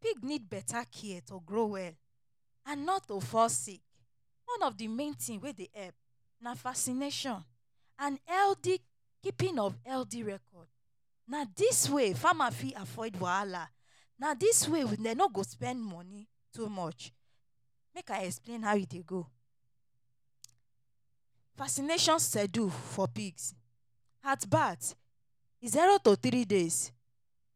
Pig need betta care to grow well and not to fall sick. One of di main tin wey dey help na vaccination and healthy keeping of healthy record. Na dis way farmer fit avoid wahala, na dis way dem no go spend moni too much. Make I explain how e dey go. Vaccination schedule for pigs: At birth zero to three days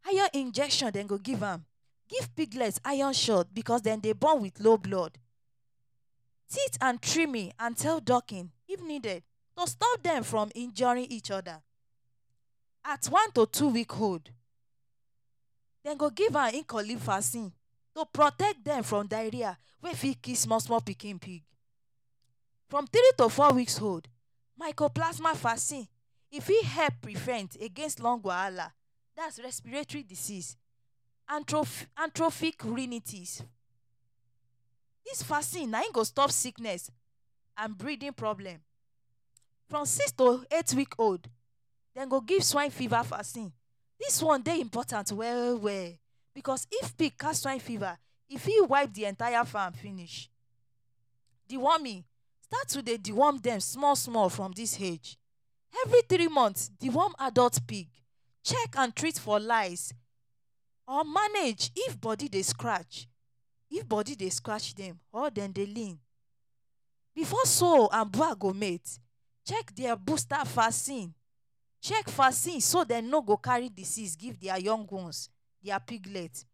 higher injection dem go give. Dem give piglets iron shot bicos dem dey born wit low blood. Teeth and trimming and tail docking if needed to stop dem from injuring each oda. At one to two week old, dem go give "E Coli vaccine" to protect dem from diarrhea wey fit kill small small pikin pig. From three to four weeks old, Mycoplasma vaccine e fit help prevent against lung wahala, dat na respiratory disease, antrophic urinities. Dis vaccine na im go stop sickness and breathing problem. From six to eight week old, dem go give swine fever vaccine. Dis one dey important well well bicos if pig catch swine fever, e fit wipe di entire farm finish. Deworming: Start to dey deworm dem small small from dis age. Every three month, deworm adult pig. Check and treat for lice or manage if body dey scratch dem or dem dey lean, before sow and boar go mate, check dia booster vaccine. Check vaccine so dem no go carry disease give dia young ones — dia piglets.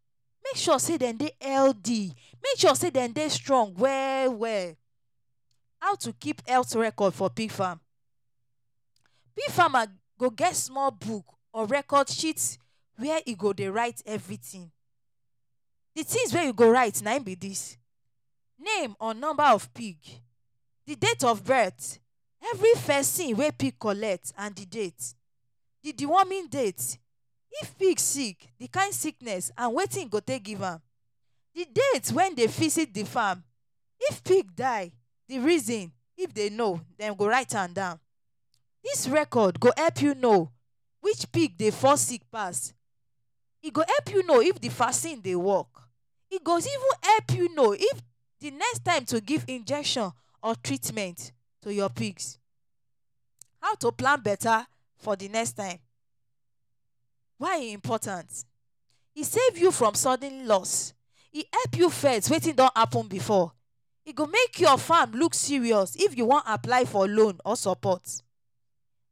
Make sure say dem dey healthy, make sure say dem dey strong well well. How to keep health records for pig farm: Pig farmer go get small book or record sheet wey e go dey write everytin. Di tins wey you go write na im be dis: name or number of pig, di date of birth, every vaccine wey pig collect and di date, di deworming date. If pig sick, di kain sickness and wetin you go take give am, di date wen dey visit di farm. If pig die, di reason if dem know, dem go write am down. Dis record go help you know which pig dey fall sick pass. E go help you know if di vaccine dey work. E go even help you know if di next time to give injection or treatment to your pigs. How to plan betta for di next time — why e important: E save you from sudden loss. E help you first wetin don happun before. E go make your farm look serious if you wan apply for loan or support.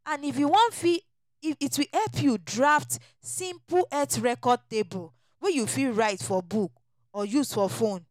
And if you wan fit, it will help you draft simple health record table wey you fit write for book or use for phone.